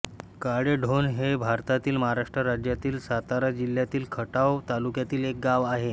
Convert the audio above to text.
काळेढोण हे भारतातील महाराष्ट्र राज्यातील सातारा जिल्ह्यातील खटाव तालुक्यातील एक गाव आहे